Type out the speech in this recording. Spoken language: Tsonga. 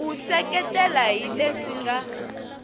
u seketela hi leswi nga